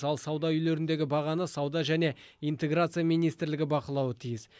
ал сауда үйлеріндегі бағаны сауда және интеграция министрлігі бақылауы тиіс